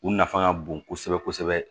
U nafa ka bon kosɛbɛ kosɛbɛ